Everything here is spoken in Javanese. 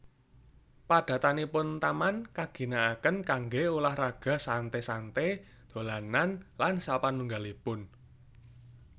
Padatanipun taman kaginakaken kanggé ulah raga santé santé dolanan lan sapanunggalipun